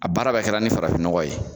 A baara bɛɛ kɛra ni farafinɔgɔ ye.